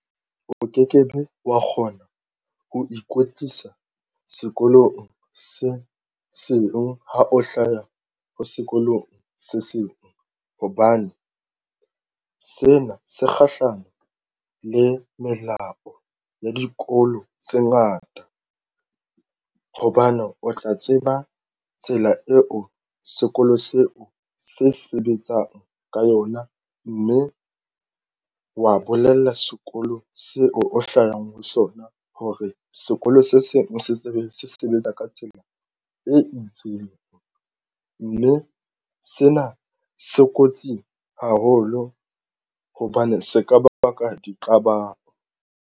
O ke kebe wa kgona ho ikwetlisa sekolong se seng ha o hlaya ho sekolong se seng hobane sena se kgahlano le melao ya dikolo tse ngata hobane o tla tseba tsela eo sekolo seo se sebetsang ka yona mme wa bolella sekolo seo o hlahang ho sona hore sekolo se seng se sebetsa ka tsela e itseng, mme sena se kotsi haholo hobane se ka ba baka di qabang.